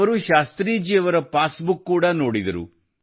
ಅವರು ಶಾಸ್ತ್ರೀಜಿಯವರ passbook ಕೂಡ ನೋಡಿದರು